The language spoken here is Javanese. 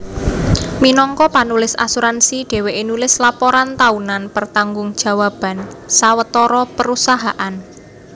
Minangka panulis asuransi dhèwèké nulis laporan taunan pertanggung jawaban sawetara perusahaan